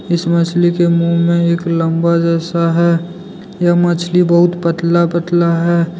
इस मछली के मुंह में एक लंबा जैसा है ये मछली बहुत पतला पतला है।